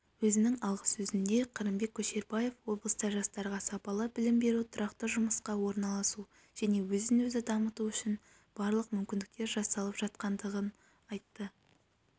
өзінің алғысөзінде қырымбек көшербаев облыста жастарға сапалы білім беру тұрақты жұмысқа орналасу және өзін-өзі дамыту үшін барлық мүмкіндіктер жасалып жатқандығын айтты